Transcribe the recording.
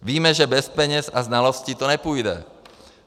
Víme, že bez peněz a znalostí to nepůjde.